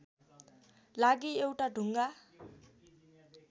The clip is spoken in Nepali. लागि एउटा ढुङ्गा